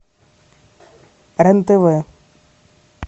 рен тв